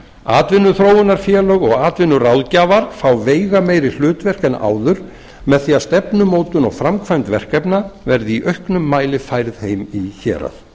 atvinnuþróunarfélög og atvinnuráðgjafar fá veigameiri hlutverk en áður með því að stefnumótun og framkvæmd verkefna verði í auknum mæli færð heim í hérað